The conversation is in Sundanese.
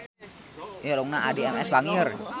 Irungna Addie MS bangir